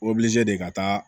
de ka taa